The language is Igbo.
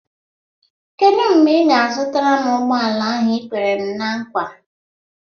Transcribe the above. Kedụ mgbe ị ga-azụtara m ụgbọala ahụ i kwere m ná nkwa?